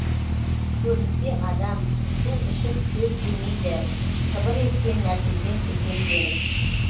көрінсе адам су ішіп шөп жемейді сыбыр еткен нәрседен секемденіп